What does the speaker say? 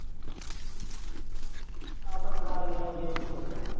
ਆ ਪਟਵਾਰੀ ਆਲੇ ਚ ਹੁੰਦਾ।